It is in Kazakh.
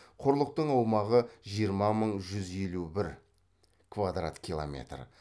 құрлықтың аумағы жиырма мың жүз елу бір квадрат километр